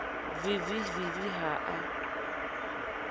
v v v ha a